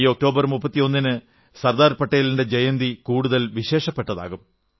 ഈ ഒക്ടോബർ 31 ന് സർദാർ പട്ടേലിന്റെ ജയന്തി കൂടുതൽ വിശേഷപ്പെട്ടതാകും